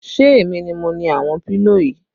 Ṣé èmi ni mo ni àwọn pílò yìí?